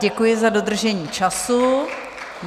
Děkuji za dodržení času.